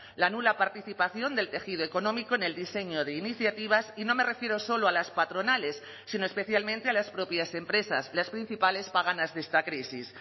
la nula participación del tejido económico en el diseño de iniciativas y no me refiero solo a las patronales sino especialmente a las propias empresas las principales paganas de esta crisis